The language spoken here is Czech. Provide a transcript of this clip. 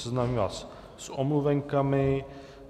Seznámím vás a omluvenkami.